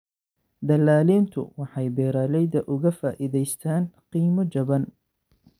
Dallaaliintu waxay beeralayda uga faa�idaystaan ??qiimo jaban.